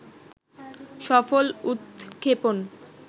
সফল উৎক্ষেপণ